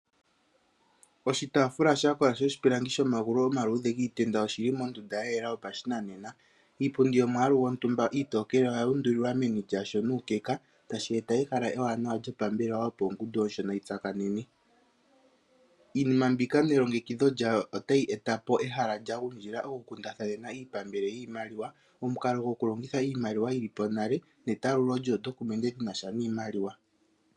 Oshitaafula sha kola shoshipilangi shomagulu giitenda oshi li mehala lya yela yoshinanena. Iipundi iitokele yomwaalu gwontumba oyu undulilwa meni lyasho nuukeka tashi eta ehala ewanawa lyopambelewa, opo ongundu yontumba yitsakanene. Iinima mbika nelongekidho lyawo otayi eta ehala lyokukundathanena iipambele yiimaliwa. Omukalo gwokulongitha iimaliwa yili po nale netalululo lyoondokumende lyinasha niimaliwa.